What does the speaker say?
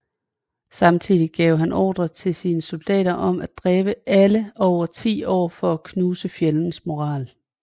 Samtidig gav han ordre til sine soldater om at dræbe alle over ti år for at knuse fjendens moral